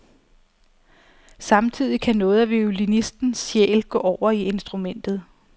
Samtidig kan noget af violinistens sjæl gå over i instrumentet.